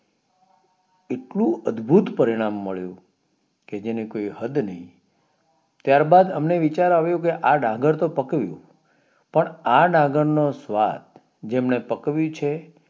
એટલું અદભુત પરિણામ મળ્યું કે જેની કોઈ હદ નઈ ત્યાર બાદ અમને વિચાર આવ્યો કે આ ડાંગર તો પકાવ્યું પણ આ ડાંગર નો સ્વાદ જેમને પકાવ્યું છે